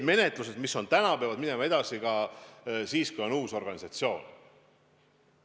Menetlused, mis on täna pooleli, peavad minema edasi, kui asjaga tegeleb uus organisatsioon.